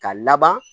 Ka laban